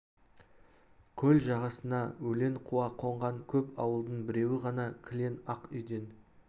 көл жағасына өлең қуа қонған көп ауылдың біреуі ғана кілең ақ үйден